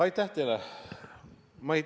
Aitäh teile!